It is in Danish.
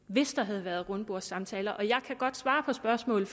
hvis der havde været rundbordssamtaler og jeg kan godt svare på spørgsmålet